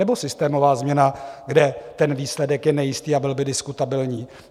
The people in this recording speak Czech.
Nebo systémová změna, kde ten výsledek je nejistý a byl by diskutabilní?